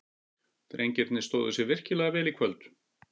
Drengirnir stóðu sig virkilega vel í kvöld.